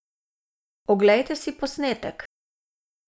Oglejte si posnetek!